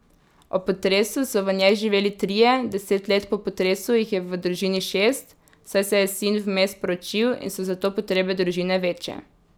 Ob potresu so v njej živeli trije, deset let po potresu jih je v družini šest, saj se je sin vmes poročil in so zato potrebe družine večje.